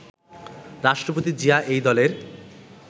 রাষ্ট্রপতি জিয়া এই দলের